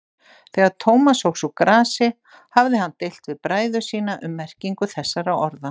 Þegar Thomas óx úr grasi hafði hann deilt við bræður sína um merkingu þessara orða.